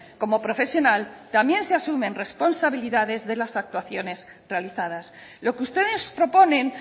como profesional también se asumen responsabilidades de las actuaciones realizadas lo que ustedes proponen